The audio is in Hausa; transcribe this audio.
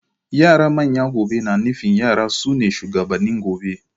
Yara manyan gobe na nufin yara sune shugabannin gobe.